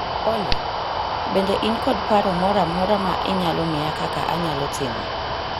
Olly, bende in kod paro moro amora ma inyalo miya kaka anyalo timo